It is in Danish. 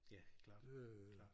Ja klart klart